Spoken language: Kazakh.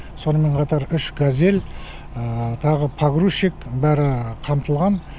сонымен қатар үш газель тағы погрузчик бәрі қамтылған